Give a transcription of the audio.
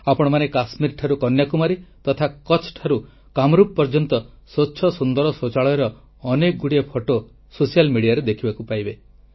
ଆପଣମାନେ କାଶ୍ମୀର ଠାରୁ କନ୍ୟାକୁମାରୀ ତଥା କଚ୍ଛ ଠାରୁ କାମରୂପ ପର୍ଯ୍ୟନ୍ତ ସ୍ୱଚ୍ଛ ସୁନ୍ଦର ଶୌଚାଳୟର ଅନେକ ଗୁଡ଼ିଏ ଫଟୋ ସୋସିଆଲ୍ ମିଡ଼ିଆରେ ଦେଖିବାକୁ ମିଳିବ